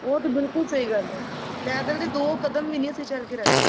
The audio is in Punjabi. ਉਹ ਤੇ ਬਿਲਕੁੱਲ ਸਹੀ ਗੱਲ ਹੈ ਪੈਦਲ ਤੇ ਦੋ ਕਦਮ ਵੀ ਨਹੀਂ ਅਸੀਂ ਚੱਲ ਕੇ ਰਾਜੀ